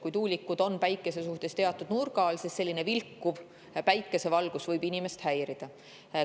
Kui tuulikud on päikese suhtes teatud nurga all, siis vilkuv päikesevalguses võib inimest häirida.